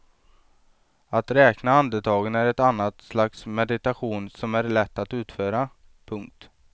Att räkna andetagen är ett annat slags meditation som är lätt att utföra. punkt